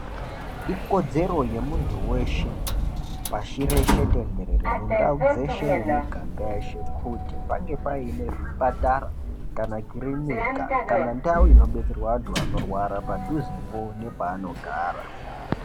Ikodzero yemuntu weshe pashi reshe tenderere mindau dzeshe nemiganga yeshe kuti paunge paine zvipatara kana kirinika kana ndau inobetserwa vanhu vanorwara padhuzepo nepaanogara.